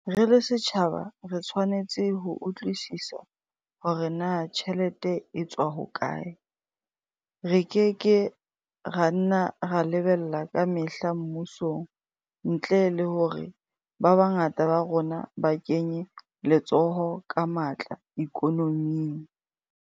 Re le setjhaba re tshwanetse ho utlwisisa hore na tjhelete e tswa hokae re ke ke ra nna ra lebella ka mehla mmusong ntle le hore ba bangata ba rona ba kenye letsoho ka matla ikonoming.